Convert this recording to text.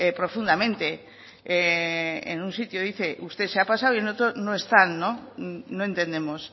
profundamente en un sitio dice usted se ha pasado y en otro no están no entendemos